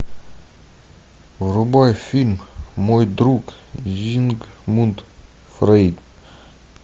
врубай фильм мой друг зигмунд фрейд